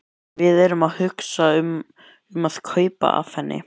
Við erum að hugsa um að kaupa af henni.